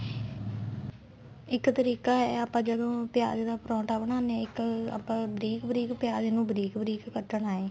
ਇੱਕ ਤਰੀਕਾ ਇਹ ਏ ਆਪਾਂ ਜਦੋਂ ਪਿਆਜ ਦਾ ਪਰੋਂਠਾ ਬਣਾਨੇ ਆ ਇੱਕ ਆਪਾਂ ਬਰੀਕ ਬਰੀਕ ਪਿਆਜ ਨੂੰ ਬਰੀਕ ਬਰੀਕ ਕੱਟਣਾ ਏ